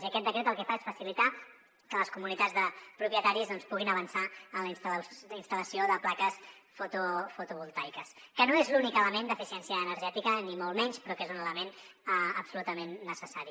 i aquest decret el que fa és facilitar que les comunitats de propietaris doncs puguin avançar en la instal·lació de plaques fotovoltaiques que no és l’únic element d’eficiència energètica ni molt menys però que és un element absolutament necessari